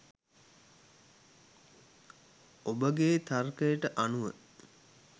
ඔබගේ තර්කයට අනුව